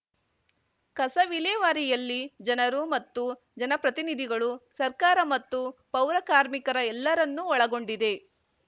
ಕಸ ವಿಲೇವಾರಿಯಲ್ಲಿ ಜನರು ಮತ್ತು ಜನಪ್ರತಿನಿಧಿಗಳು ಸರ್ಕಾರ ಮತ್ತು ಪೌರ ಕಾರ್ಮಿಕರ ಎಲ್ಲರನ್ನು ಒಳಗೊಂಡಿದೆ